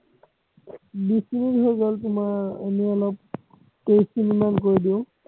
বিছ মিনিট হৈ গল তোমাৰ এনেই অলপ তেইছ মিনিটমান কৰি দিও